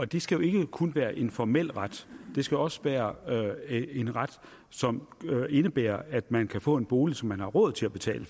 det skal jo ikke kun være en formel ret det skal også være en ret som indebærer at man kan få en bolig som man har råd til at betale